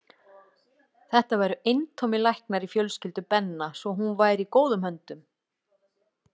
Þetta væru eintómir læknar í fjölskyldu Benna svo hún væri í góðum höndum.